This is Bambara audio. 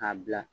K'a bila